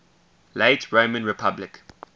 late roman republic